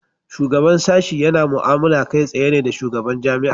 Shugaban sashi yana mu"amala kai tsayen ne da shugaban jami'a.